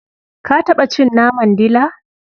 Ka taɓa cin naman dila?